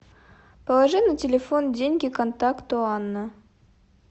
положи на телефон деньги контакту анна